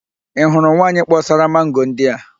Ị hụrụ nwaanyị kpọsara mango ndị a?